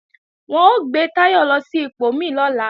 Wọn ó gbé Táyọ̀ lọ sí ipò mí lọ́la